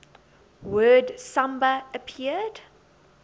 word samba appeared